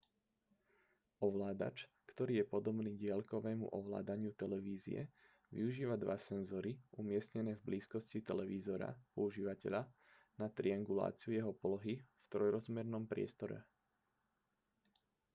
ovládač ktorý je podobný diaľkovému ovládaniu televízie využíva dva senzory umiestnené v blízkosti televízora používateľa na trianguláciu jeho polohy v trojrozmernom priestore